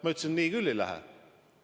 Ma ütlesin, et nii küll ei lähe.